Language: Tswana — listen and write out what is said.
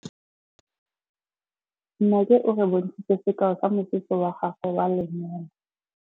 Nnake o re bontshitse sekaô sa mosese wa gagwe wa lenyalo.